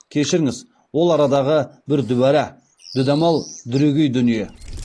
кешіріңіз ол арадағы бір дүбара дүдамал дүрегей дүние